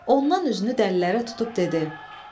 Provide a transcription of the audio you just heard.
Ondan üzünü dəlilərə tutub dedi: